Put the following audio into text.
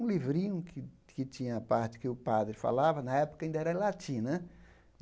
Um livrinho que que tinha a parte que o padre falava, na época ainda era em latim, né?